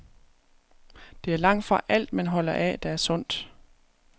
Det er langtfra alt, man holder af, der er sundt.